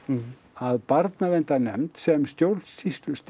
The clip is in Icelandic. að barnaverndarnefnd sem stjórnsýslustig